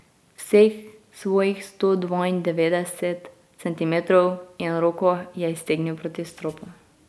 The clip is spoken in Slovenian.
Vseh svojih sto dvaindevetdeset centimetrov in roko je iztegnil proti stropu.